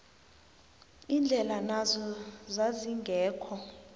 indlela nazo zazingekho